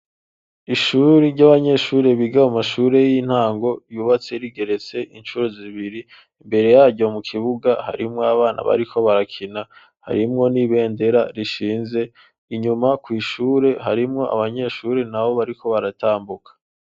ishuri ry'abanyeshure biga a mashure y'intango yubatse rigeretse inshuro zibiri imbere yaryo mu kibuga harimo abana bariko barakina harimwo n'ibendera rishinze inyuma ku ishure harimwo abanyeshuri nabo bariko baratambuka